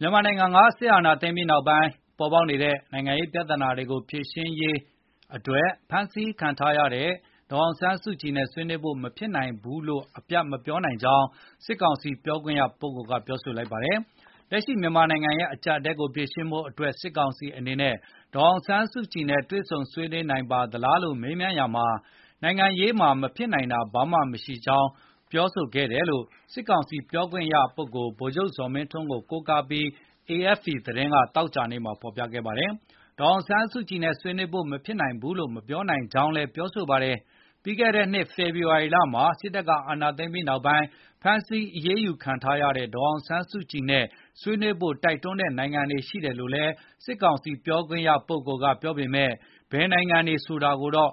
မြန်မာနိုင်ငံမှာ စစ်အာဏာသိမ်းပြီးနောက်ပိုင်း ပေါ်ပေါက်နေတဲ့ နိုင်ငံရေးပြဿနာတွေကို ဖြေရှင်းရေး ၊ ဖမ်းဆီးခံထားရတဲ့ ဒေါ်အောင်ဆန်းစုကြည်နဲ့ ဆွေးနွေးဖို့ မဖြစ်နိုင်ဘူးလို့ အပြတ်မပြောနိုင်ကြောင်း စစ်ကောင်စီပြောခွင့်ရက ပြောလိုက်ပါတယ်။ လက်ရှိမြန်မာနိုင်ငံရဲ့ အကျပ်အတည်းကို ဖြေရှင်းဖို့အတွက် စစ်ကောင်စီအနေနဲ့ ဒေါ်အောင်ဆန်းစုကြည်နဲ့ တွေ့ဆုံဆွေးနွေးနိုင်ပါသလားလို့ မေးမြန်းရာမှာ နိုင်ငံရေးမှာ မဖြစ်နိုင်တာဆိုလို့ ဘာမှမရှိကြောင်း ပြောခဲ့တယ်လို့ စစ်ကောင်စီပြောခွင့်ရပုဂ္ဂိုလ် ဗိုလ်ချုပ်ဇော်မင်းထွန်းကို ကိုးကားပြီး AFP သတင်းက သောကြာနေ့မှာ ဖော်ပြခဲ့တာပါ။ ဒေါ်အောင်ဆန်းစုကြည်နဲ့ ဆွေးနွေးဖို့ မဖြစ်နိုင်ဘူးလို့ မပြောနိုင်ကြောင်းလည်း ပြောပါတယ်။ ပြီးခဲ့တဲ့နှစ် ဖေဖော်ဝါရီလမှာ စစ်တပ်က အာဏာသိမ်းပြီးနောက်ပိုင်း ဖမ်းဆီးအရေးယူခံထားရတဲ့ ဒေါ်အောင်ဆန်းစုကြည်နဲ့ ဆွေးနွေးဖို့ တိုက်တွန်းတဲ့ နိုင်ငံတွေရှိတယ်လို့လည်း စစ်ကောင်စီပြောခွင့်ရက ပြောပေမဲ့ ဘယ်နိုင်ငံတွေ ဆိုတာတော့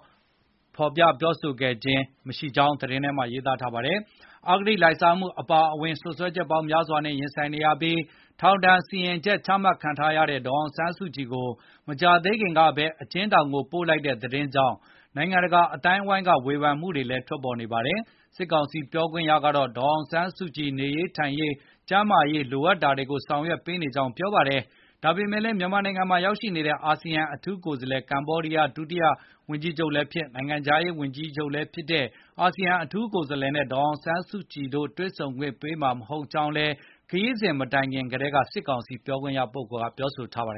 မပြောဘူးလို့လည်း သတင်းက ဖော်ပြပါတယ်။ အဂတိလိုက်စားမှု အပါအဝင် စွပ်စွဲချက်ပေါင်းများစွာနဲ့ ရင်ဆိုင်နေရပြီး ထောင်ဒဏ် စီရင်ချက် ချမှတ်ခံထားရတဲ့ ဒေါ်အောင်ဆန်းစုကြည်ကို မကြာသေးခင်ကပဲ အကျဉ်းထောင်ကို ပို့လိုက်တဲ့ သတင်းကြောင့် နိုင်ငံတကာ အသိုင်းအဝိုင်းရဲ့ ဝေဖန်မှုတွေလည်း ထွက်ပေါ်နေတာပါ။ စစ်ကောင်စီ ပြောခွင့်ရကတော့ ဒေါ်အောင်ဆန်းစုကြည် နေရေးထိုင်ရေး၊ ကျန်းမာရေး လိုအပ်တာတွေကို ဆောင်ရွက်ပေးနေကြောင်း ပြောပါတယ်။ ဒါပေမဲ့လည်း မြန်မာနိုင်ငံမှာ ရောက်နေတဲ့ အာဆီယံအထူးကိုယ်စားလှယ် ကမ္ဘောဒီးယား ဒုဝန်ကြီးချုပ်လည်းဖြစ်၊ နိုင်ငံခြားရေးဝန်ကြီးလည်းဖြစ်တဲ့ Prak Sokhonn နဲ့ ဒေါ်အောင်ဆန်းစုကြည် တွေ့ဆုံခွင့် ပေးမှာမဟုတ်ကြောင်းလည်း ခရီးစဉ် မတိုင်ခင်မှာ ကတည်းက စစ်ကောင်စီ ပြောခွင့်ရက ပြောဆိုထားပါတယ်